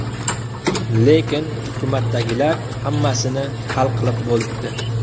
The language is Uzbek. Lekin... hukumatdagilar hammasini hal qilib bo‘libdi.